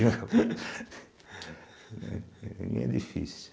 Para mim é difícil.